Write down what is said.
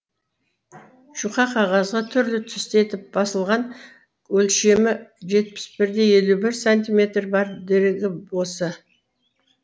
жұқа қағазға түрлі түсті етіп басылған өлшемі жетпіс бір де елу бір сантиметр бар дерегі осы